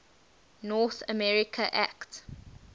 north america act